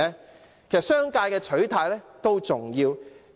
其實，商界的取態也重要。